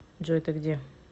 джой ты где